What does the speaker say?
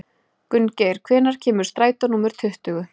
Gunngeir, hvenær kemur strætó númer tuttugu?